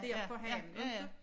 Dér på havnen ikke